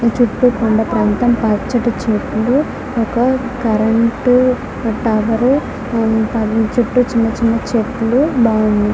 చుట్టూ కొండ ప్రాంతం పచ్చని చెట్లు ఒక కరెంటు టవర్ దాని చుట్టూ చిన్న చిన్న చెట్లు బాగుండి.